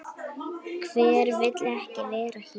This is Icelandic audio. Hver vill ekki vera hér?